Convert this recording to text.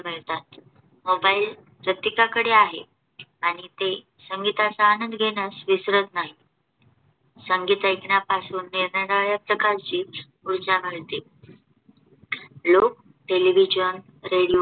तेव्हा येतात MOBILE प्रत्येकाकडे आहे आणि ते संगीताचा आनंद घेण्यास विसरत नाही. संगीत ऐकण्यापासून निरनिराळ्या प्रकारची ऊर्जा मिळते. लोक TELEVISION, रेडिओ